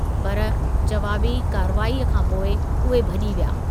पर, जवाबी कार्रवाईअ खां पोइ उहे भॼी विया।